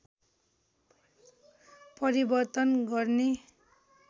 परिवर्तन गर्ने